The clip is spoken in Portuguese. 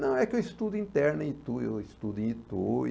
Não, é que eu estudo interno em Itu, eu estudo em Itu e...